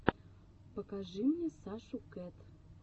покажи мне сашу кэт